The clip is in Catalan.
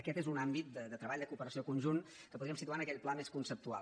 aquest és un àmbit de treball de cooperació conjunt que podríem situar en aquell pla més conceptual